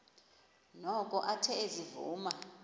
noko athe ezivuma